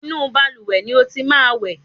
Inú balùwẹ̀ ni o ti máa wẹ̀!